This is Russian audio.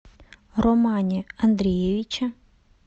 романе андреевиче